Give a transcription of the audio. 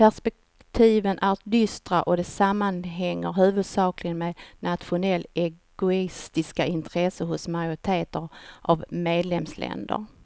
Perspektiven är dystra och det sammanhänger huvudsakligen med nationellt egoistiska intressen hos majoriteten av medlemsländer.